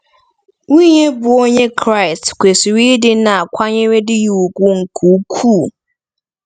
Nwunye bụ́ Onye Kraịst “kwesịrị ịdị na-akwanyere di ya ùgwù nke ukwuu.”